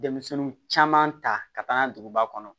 Denmisɛnnin caman ta ka taa n'a ye duguba kɔnɔ